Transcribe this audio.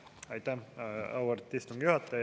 Aitäh, auväärt istungi juhataja!